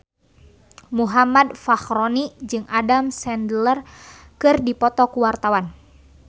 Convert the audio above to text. Muhammad Fachroni jeung Adam Sandler keur dipoto ku wartawan